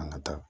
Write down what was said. An ka taa